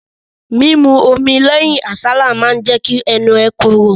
Mímu omi lẹ́yìn àsálà jíjẹ ma jẹ́ kẹ́nu ẹ korò.